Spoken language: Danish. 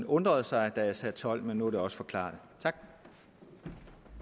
undrede sig da jeg sagde tolv partier men nu er det også forklaret